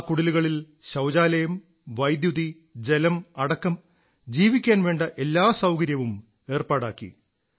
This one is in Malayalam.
ആ കുടിലുകളിൽ ശൌചാലയം വൈദ്യുതി ജലം അടക്കം ജീവിക്കാൻ വേണ്ട എല്ലാ സൌകര്യങ്ങളും ഏർപ്പാടാക്കി